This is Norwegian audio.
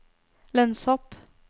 lønnshopp